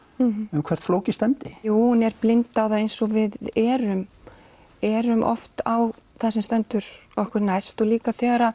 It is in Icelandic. um hvert flóki stefndi hún er blind á það eins og við erum erum oft á það sem stendur okkur næst og líka þegar